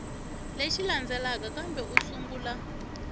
lexi landzelaka kambe u sungula